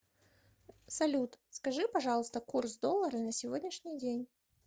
салют скажи пожалуйста курс доллара на сегодняшний день